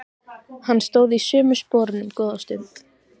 Hann stóð í sömu sporunum góða stund.